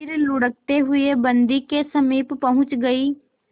फिर लुढ़कते हुए बन्दी के समीप पहुंच गई